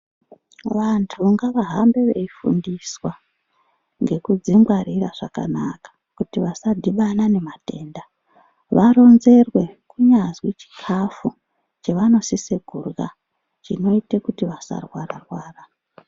Vantu ngavahambe veifundiswa ngekudzingwarira zvakanaka kuti vasadhibana nematenda ngavaronzerwe kunyazwi chikafu chavanosisa kurya chinoita kuti vasarwara rwara.